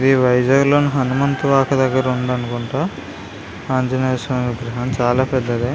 ఇ వైజాగ్ లోని హానుమంత్ వాకు దగ్గర ఉంది అనుకుంట ఆంజనేయ స్వామి విగ్రహం చాలా పెద్దద.